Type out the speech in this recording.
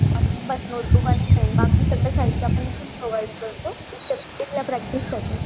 आणि नोटेबूक आणि पेन बाकी सर्व साहित्य आपण इथूनच प्रोवाइड करतो इथल्या प्रैक्टिस साठी